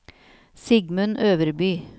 Sigmund Øverby